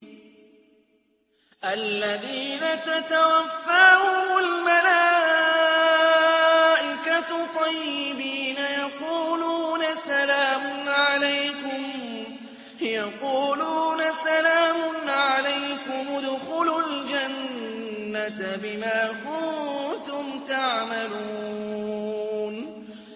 الَّذِينَ تَتَوَفَّاهُمُ الْمَلَائِكَةُ طَيِّبِينَ ۙ يَقُولُونَ سَلَامٌ عَلَيْكُمُ ادْخُلُوا الْجَنَّةَ بِمَا كُنتُمْ تَعْمَلُونَ